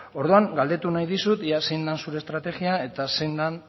orduan galdetu nahi dizut ea zein den zure estrategia eta zein den